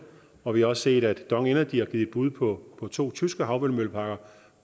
og vi har også set at dong energy har givet bud på to tyske havvindmølleparker